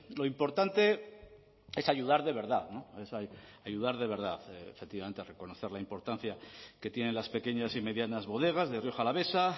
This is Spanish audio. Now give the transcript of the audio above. lo importante es ayudar de verdad ayudar de verdad efectivamente reconocer la importancia que tienen las pequeñas y medianas bodegas de rioja alavesa